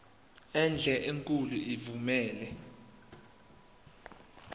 enhle enkulu evumela